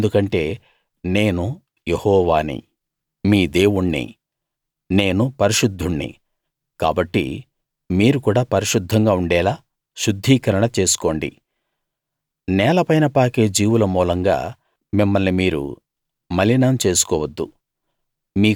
ఎందుకంటే నేను యెహోవాని మీ దేవుణ్ణి నేను పరిశుద్ధుణ్ణి కాబట్టి మీరు కూడా పరిశుద్ధంగా ఉండేలా శుద్ధీకరణ చేసుకోండి నేలపైన పాకే జీవుల మూలంగా మిమ్మల్ని మీరు మలినం చేసుకోవద్దు